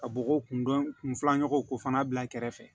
Ka bɔgɔ kundɔn kun filanan ko fana bila kɛrɛfɛ